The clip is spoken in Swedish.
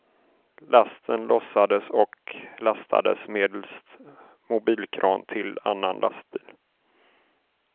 Lasten lossades och lastades medelst mobilkran till annan lastbil.